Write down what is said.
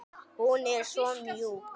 Hún er svo mjúk.